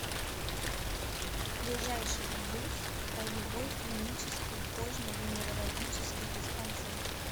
ближайший гбуз краевой клинический кожно венерологический диспансер